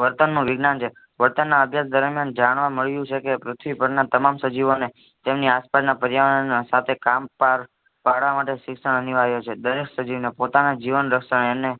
વર્તન નો વિજ્ઞાન છે વર્તન ના અધ્યન દરમિયાન જાણવા મળ્યું છે કે પૃથ્વી પર ના તમામ સજીવો ને તેમની આસપાસ ના પર્યાવરણ ના સાથે કામ પાર પાડવા માટે શીશ અનિવાર્ય છે દરેક સજીવ ને પોતાના જીવનરક્ષણ અને